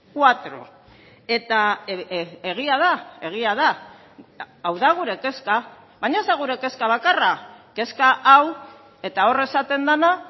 cuatro eta egia da egia da hau da gure kezka baina ez da gure kezka bakarra kezka hau eta hor esaten dena